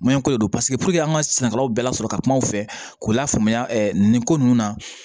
ko de don paseke puruke an ka sɛnɛkɛlaw bɛɛ lasɔrɔ ka kuma u fɛ k'u lafaamuya nin ko ninnu na